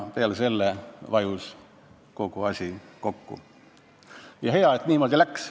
Peale seda vajus kogu asi kokku ja hea, et niimoodi läks.